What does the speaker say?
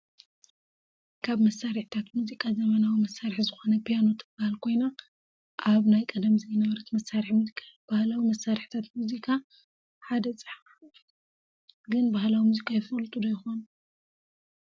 ካብ መሳሪሒታት ሙዙቃ ዘመናዊ መሳሪሒ ዝኮነ ፕያኖ ትበሃል ኮይና ኣብ ናይ ቀደም ዘይነበረት መሳሪሒ ሙዚቃ እያ፤ ባህላዊ መሳሪሒታት ሙዚካ ሓደ ፀሓፍ ። ግን ባህላዊ ሙዚቃ ይፈልጡ ዶ ይኮኑ?